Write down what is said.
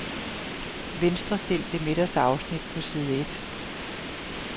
Venstrestil det midterste afsnit på side et.